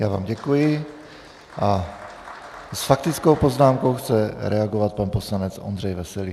Já vám děkuji a s faktickou poznámkou chce reagovat pan poslanec Ondřej Veselý.